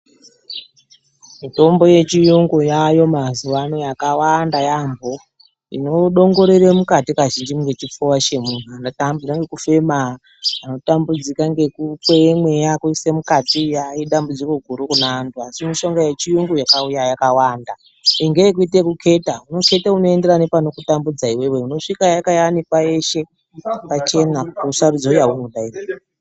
Mitombo yechiyungu yaayo mazuwano yakawanda yambo inodongorere kazhinji mukati mwechipfuva chemunhu anotambudzika ngekufema , anotambudzika ngekukweye mweya kuisei mukati aaa idambudziko gurukune antu , asi mushinga yechiyungu yakauya yakawanda ngeekuite ekuketa , unoketa unoenderana nepanokutambudza iwewe unozvika yakayanikwa yeshe pachena kuti usarudze yaunoda iwewe.